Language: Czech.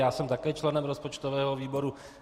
Já jsem také členem rozpočtového výboru.